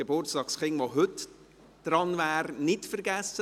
Die kantonalen Beiträge für